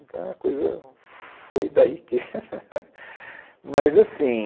Então a coisa foi daí que... Mas assim...